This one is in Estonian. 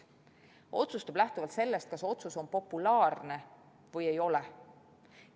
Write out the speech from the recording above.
Ta otsustab lähtuvalt sellest, kas otsus on populaarne või ei ole.